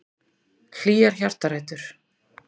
Hlýjar hjartarætur.